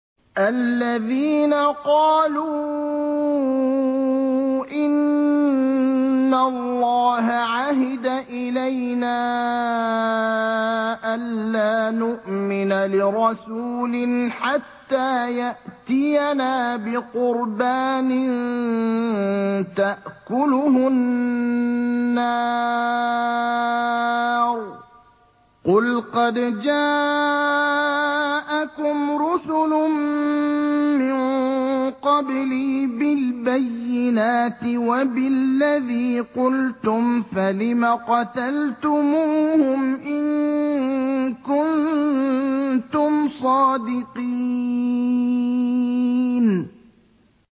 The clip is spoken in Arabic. الَّذِينَ قَالُوا إِنَّ اللَّهَ عَهِدَ إِلَيْنَا أَلَّا نُؤْمِنَ لِرَسُولٍ حَتَّىٰ يَأْتِيَنَا بِقُرْبَانٍ تَأْكُلُهُ النَّارُ ۗ قُلْ قَدْ جَاءَكُمْ رُسُلٌ مِّن قَبْلِي بِالْبَيِّنَاتِ وَبِالَّذِي قُلْتُمْ فَلِمَ قَتَلْتُمُوهُمْ إِن كُنتُمْ صَادِقِينَ